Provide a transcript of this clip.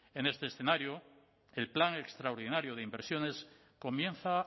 en este escenario el plan extraordinario de inversiones comienza